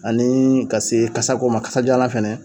Ani ka se kasa ko ma, kasa jalan fɛnɛ